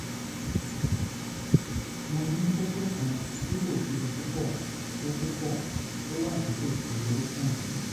mo ní kókó kan tí kò tóbi púpọ̀ tó púpọ̀ tó wà nítòsí orúnkún mi